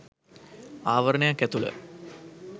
ආවරණයක් ඇතුළ